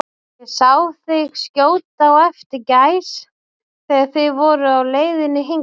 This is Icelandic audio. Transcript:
Ég sá þig skjóta á eftir gæs, þegar þið voruð á leiðinni hingað